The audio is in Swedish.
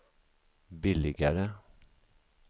billigare